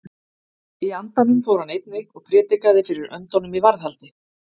Í andanum fór hann einnig og prédikaði fyrir öndunum í varðhaldi.